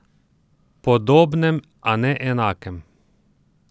Podobnem, a ne enakem.